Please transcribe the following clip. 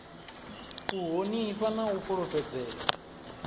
u honifha na u fhulufhedzea